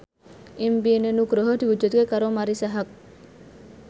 impine Nugroho diwujudke karo Marisa Haque